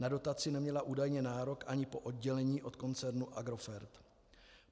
Na dotaci neměla údajně nárok ani po oddělení od koncertu Agrofert.